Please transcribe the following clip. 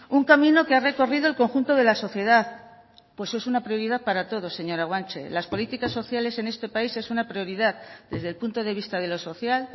un camino que ha recorrido el conjunto de la sociedad pues es una prioridad para todos señora guanche las políticas sociales en este país es una prioridad desde el punto de vista de lo social